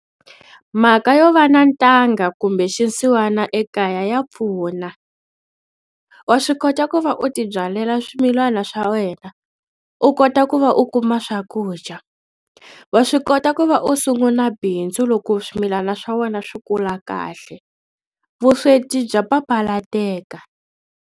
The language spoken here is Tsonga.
Mhaka yo va na ntanga kumbe xinsiwana ekaya ya pfuna wa swi kota ku va u tibyalela swimilana swa wena, u kota ku ku va u kuma swakudya wa swi kota ku va u sunguna bindzu loko swimilana swa wena swi kula kahle vusweti bya papalateka.